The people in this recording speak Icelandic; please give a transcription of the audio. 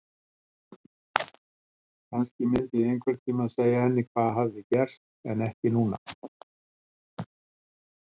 Kannski myndi ég einhvern tímann segja henni hvað raunverulega hafði gerst en ekki núna.